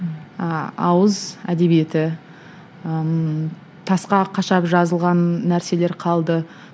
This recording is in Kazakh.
ыыы ауыз әдебиеті ыыы тасқа қашап жазылған нәрселер қалды